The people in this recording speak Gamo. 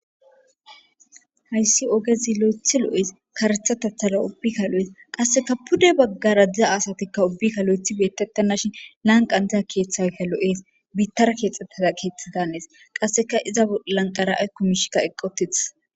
Hayssi ogezi lo'ethi lo'ees karetha tathala ubbikka lo'es qasseka pude baggara diza asatikka ubbikka lo'ethi beetettannashin lanqan diza keeththaykka lo'es biittara keexxettada keeththa danees qasseka iza lanqara aykkumishikka eqqotith.